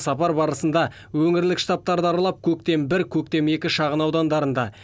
сапар барысында өңірлік штабтарды аралап көктем бір көктем екі шағын аудандарында